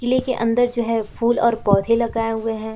किले के अंदर जो है फूल और पौधे लगाए हुए हैं।